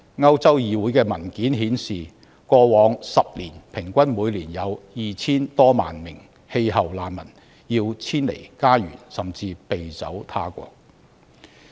歐洲議會的文件顯示，過去10年平均每年有 2,000 多萬名氣候難民要遷離家園，甚至避走他國。